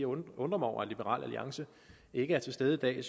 undrer mig over at liberal alliance ikke er til stede i dag